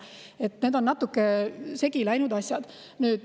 Need asjad on natuke segi läinud.